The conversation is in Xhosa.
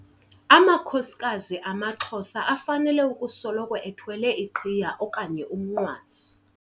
Amakhosikazi amaXhosa afanele ukusoloko ethwele iqhiya okanye umnqwazi.